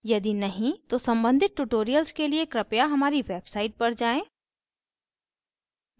यदि नहीं तो सम्बंधित tutorials के लिए कृपया हमारी website पर जाएँ